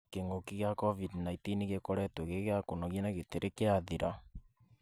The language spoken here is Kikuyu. Kĩng'ũũki gĩa Covid-19 gĩkoretwo gĩ gĩa kũnogia na gĩtirĩ kĩrathira.